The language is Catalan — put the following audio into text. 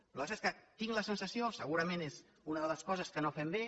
el que passa és que tinc la sensació segurament és una de les coses que no fem bé